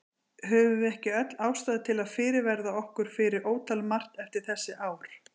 Höfum við ekki öll ástæðu til að fyrirverða okkur fyrir ótal margt eftir þessi ár?